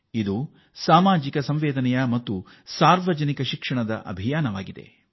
ಇದು ಸಾರ್ವಜನಿಕ ಶಿಕ್ಷಣ ಮತ್ತು ಸಾಮಾಜಿಕ ಕಾಳಜಿಯ ಆಂದೋಲನವಾಗಿ ಪರಿವರ್ತನೆಯಾಗಿದೆ